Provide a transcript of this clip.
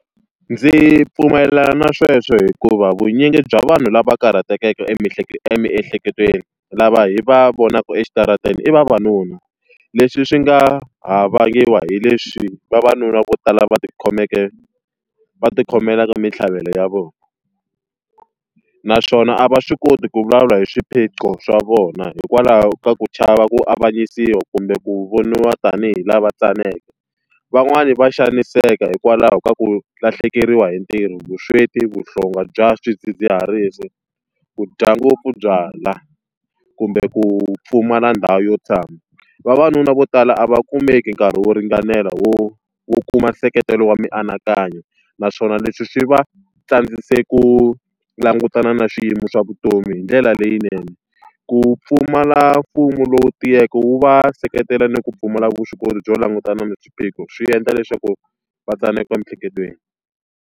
Ndzi pfumelelana na sweswo hikuva vunyingi bya vanhu lava karhatekeke emiehleketweni lava hi va vonaka exitarateni i vavanuna, leswi swi nga ha vangiwa hi leswi vavanuna vo tala va ti khomeke va ti khomela ka mintlhaveko ya vona. Naswona a va swi koti ku vulavula hi swiphiqo swa vona hikwalaho ka ku chava ku avanyisiwa kumbe ku voniwa tanihi lava tsaneke. Van'wani va xaniseka hikwalaho ka ku lahlekeriwa hi ntirho, vusweti, vuhlonga bya swidzidziharisi, ku dya ngopfu byalwa, kumbe ku pfumala ndhawu yo tshama. Vavanuna vo tala a va kumeki nkarhi wo ringanela wo wo kuma nseketelo wa mianakanyo, naswona leswi swi va tsandzekise ku langutana na swiyimo swa vutomi hi ndlela leyinene. Ku pfumala mfumo lowu tiyeke wu va seketela ni ku pfumala vuswikoti byo langutana na swiphiqo swi endla leswaku va tsaneka emiehleketweni.